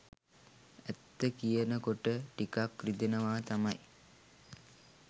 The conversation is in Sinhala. ඇත්ත කියන කොට ටිකක් රිදෙනවා තමයි